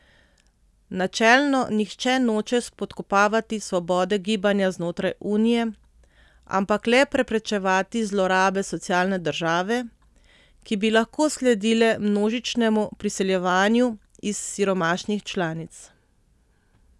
Načelno nihče noče spodkopavati svobode gibanja znotraj Unije, ampak le preprečevati zlorabe socialne države, ki bi lahko sledile množičnemu priseljevanju iz siromašnih članic.